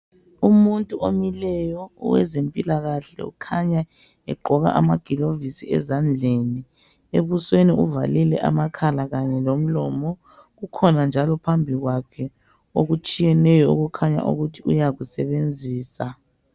Umuntu omileyo owezempilakahle okhanya egqoka amagilovisi ezandleni ebusweni uvalile amakhala Kanye lomlomo kukhona njalo phambi kwakhe okutshiyeneyo okukhanya ukuthi uyakusebenzisa.